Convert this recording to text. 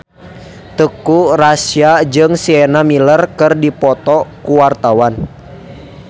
Teuku Rassya jeung Sienna Miller keur dipoto ku wartawan